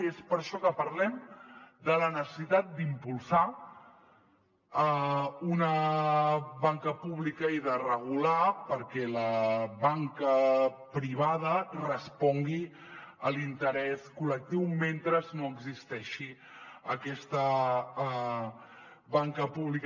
i és per això que parlem de la necessitat d’impulsar una banca pública i de regular perquè la banca privada res·pongui a l’interès col·lectiu mentre no existeixi aquesta banca pública